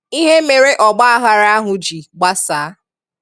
Íhè mere ọ̀gbàághàrà ahụ ji gbàsàa.